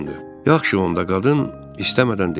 Yaxşı onda qadın istəmədən dedi.